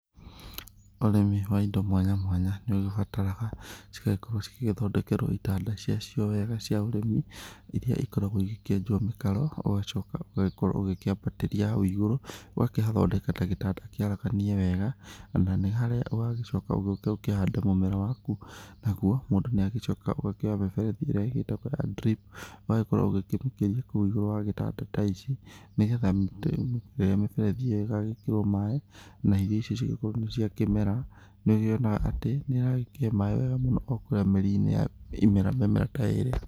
Ũrĩmi wa indo mwanya mwanya nĩũgĩbataraga cigagĩkorwo cigĩthondekerwo itanda cia cio wega cia ũrĩmi, irĩa ikoragwo igĩkĩenjwo mĩkaro, ũgacoka ũgagĩkorwo ũkĩabatĩria hau ĩgũrũ, ũgakĩhathondeka ta gĩtanda kĩaraganĩe wega, na nĩ harĩa ũgagĩcoka ũgĩũke ũkĩhande mũmera waku, naguo mũndũ nĩ agĩcokaga ũgakĩoya mĩberethi ĩrĩa ĩgĩtagwo ya drip ũgagĩkorwo ũkĩmĩikĩria kũu igũrũ wa gĩtanda ta ici, nĩgetha rĩrĩa miberethi ĩgagĩkĩrwo maaĩ na irio icio cigĩkorwo nĩ cia kĩmera nĩũkĩonaga atĩ nĩyagĩikia maaĩ wega mũno kũrĩa mĩri-inĩ ya mĩmera ta ĩrĩa.